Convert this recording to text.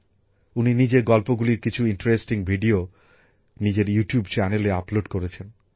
উনি নিজের গল্পগুলির কিছু আকর্ষণীয় ভিডিও নিজের ইউ টিউব চ্যানেলে আপলোড করেছেন